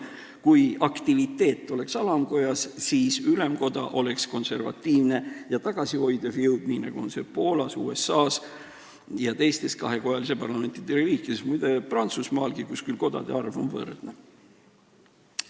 Kui aktiviteet oleks alamkojas, siis ülemkoda oleks konservatiivne ja tagasihoidev jõud, nii nagu see on Poolas, USA-s ja teistes kahekojalise parlamendiga riikides ja, muide, Prantsusmaalgi, kus küll kodade arv on võrdne.